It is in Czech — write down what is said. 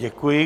Děkuji.